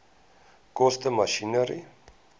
koste masjinerie